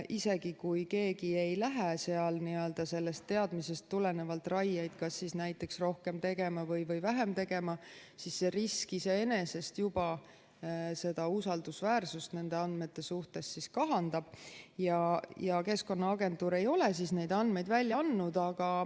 Isegi kui keegi ei lähe seal sellest teadmisest tulenevalt raieid kas rohkem tegema või vähem tegema, siis see risk iseenesest juba seda usaldusväärsust nende andmete suhtes kahandab ja Keskkonnaagentuur ei ole neid andmeid välja andnud.